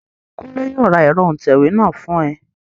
Kúnlé yóò ra ẹ̀rọ òǹtẹ̀wé náà fún ẹ